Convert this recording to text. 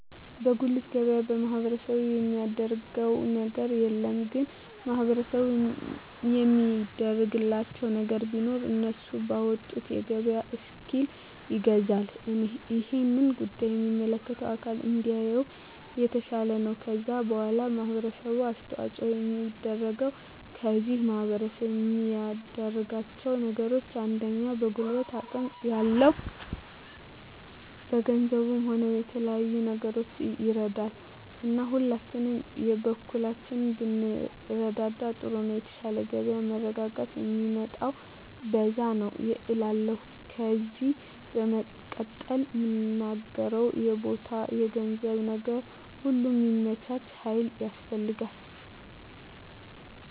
በጉልት ገበያ ማህበረሰቡ የሚያደረገው ነገር የለም ግን ማህበረሰቡ የሚያደርግላቸው ነገር ቢኖር እነሱ ባወጡት የገበያ እስኪል ይገዛል እሄን ጉዳይ የሚመለከተው አካል እንዲያየው የተሻለ ነው ከዛ በዋላ ማህበረሰቡ አስተዋጽኦ የሚያደርገው ከዚህ ማህረሰብ የሚያደርጋቸው ነገሮች አንደኛ በጉልበት አቅም ያለው በገንዘቡም ሆነ በተለያዩ ነገሮች ይረዳል እና ሁላችንም የበኩላችንን ብንረዳዳ ጥሩ ነው የተሻለ የገበያ መረጋጋት ሚመጣው በዛ ነዉ እላለሁ ከዜ በመቀጠል ምናገረው የቦታ የገንዘብ ነገር ሁሉ ሚመቻች ሀይል ያስፈልጋል